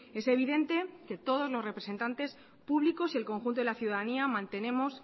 es evidente que todos los representantes públicos y el conjunto de la ciudadanía mantenemos